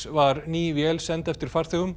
var ný vél send eftir farþegum